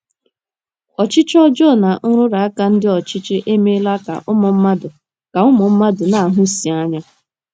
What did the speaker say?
Ọchịchị ọjọọ na nrụrụ aka ndị ọchịchị emeela ka ụmụ mmadụ ka ụmụ mmadụ na - ahụsi anya.